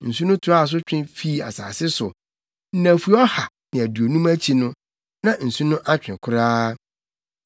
Nsu no toaa so twe fii asase so. Nnafua ɔha ne aduonum akyi no, na nsu no atwe koraa.